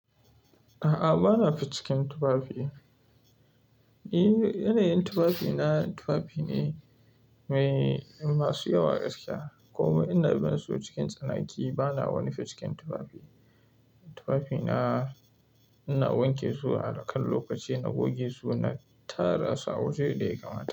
A'a, ba na fi cikin tufafi. Eh, yanayin tufafina tufafi ne mai masu yawa gaskiya. Kuma ina bin su cikin tsanaki. Ba na wani fit cikin tufafi. Tufafina ina wanke su akan lokaci na goge su, na tara su a waje da ya kamata.